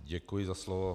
Děkuji za slovo.